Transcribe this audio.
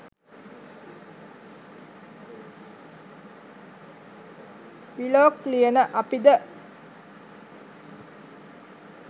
blog ලියන අපි ද